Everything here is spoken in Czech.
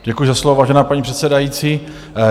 Děkuji za slovo, vážená paní předsedající.